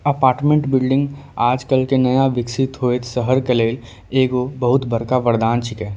Apartment building आजकल के नया विकसित होएत शहर के लेल एगो बहुत बड़का वरदान छिके।